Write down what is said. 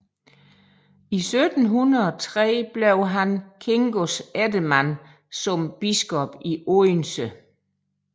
I 1703 blev han Kingos eftermand som biskop i Odense